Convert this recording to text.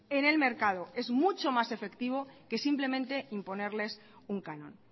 en el mercado es mucho más efectivo que simplemente imponerles un canon